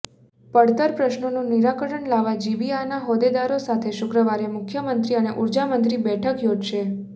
પડતર પ્રશ્નોનું નિરાકરણ લાવવા જીબીઆના હોદેદારો સાથે શુક્રવારે મુખ્યમંત્રી અને ઉર્જામંત્રી બેઠક યોજશે